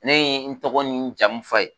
Ne ye n tɔgɔ ni jamu fɔ a ye